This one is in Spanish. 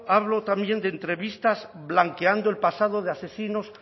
hablo también de entrevistas blanqueando el pasado de asesinos